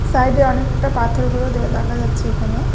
সাইডে অনেকটা পাথরগুলো দে দেখা যাচ্ছে এখানে।